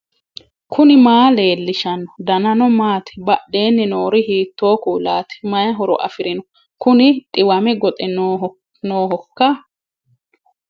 knuni maa leellishanno ? danano maati ? badheenni noori hiitto kuulaati ? mayi horo afirino ? kuni dhiwame goxe noohoiika